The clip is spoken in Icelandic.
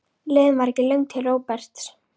Leiðin var ekki löng til Róberts.